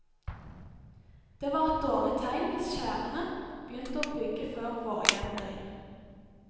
Det var et dårlig tegn hvis skjærene begynte å bygge før vårjevndøgn.